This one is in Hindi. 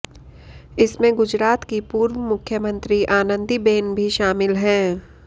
इसमें गुजरात की पूर्व मुख्यमंत्री आनंदी बेन भी शामिल है